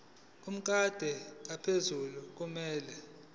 lomkhandlu ophethe kumele